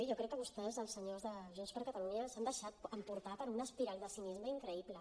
jo crec que vostès els senyors de junts per catalunya s’han deixat emportar per una espiral de cinisme increïble